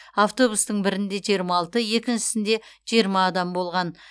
автобустың бірінде жиырма алты екіншісінде жиырма адам болған